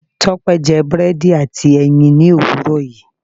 Tópé je búrédì àti èyìn ni òwúrò yi